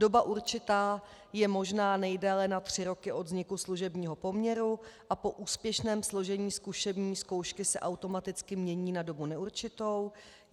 Doba určitá je možná nejdéle na tři roky od vzniku služebního poměru a po úspěšném složení zkušební zkoušky se automaticky mění na dobu neurčitou.